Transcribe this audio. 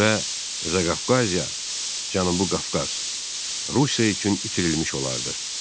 və Zaqafqaziya, Cənubi Qafqaz Rusiya üçün itirilmiş olardı.